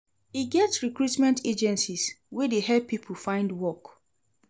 E get recruitment agencies wey dey help pipo find work